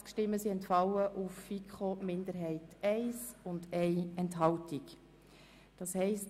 Sie haben den Antrag der FiKo-Mehrheit und der Regierung angenommen.